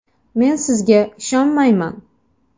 Men sizga ishonmayman!